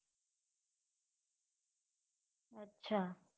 અચ્છા